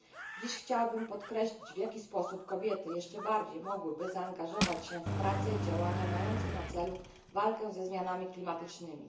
Dziś chciałabym podkreślić, w jaki sposób kobiety jeszcze bardziej mogłyby zaangażować się w prace i działania mające na celu walkę ze zmianami klimatycznymi.